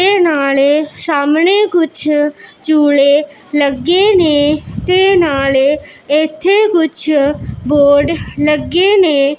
ਤੇ ਨਾਲੇ ਸ਼ਾਮਣੇ ਕੁੱਛ ਝੂਲੇ ਲੱਗੇ ਨੇਂ ਤੇ ਨਾਲੇ ਇੱਥੇ ਕੁਛ ਬੋਰਡ ਲੱਗੇ ਨੇਂ।